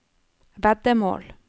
veddemål